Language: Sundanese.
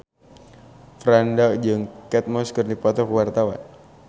Franda jeung Kate Moss keur dipoto ku wartawan